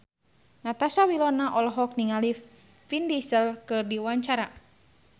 Natasha Wilona olohok ningali Vin Diesel keur diwawancara